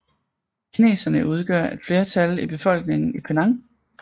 Kineserne udgør et flertal i befolkningen i Penang